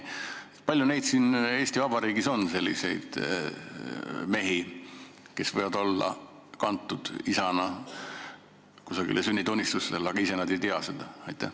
Kui palju on siin Eesti Vabariigis selliseid mehi, kes võivad olla kantud isana kusagile sünnitunnistusele, aga nad ise ei tea seda?